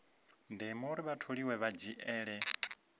ndeme uri vhatholiwa vha dzhiele